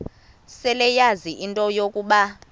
seleyazi into yokuba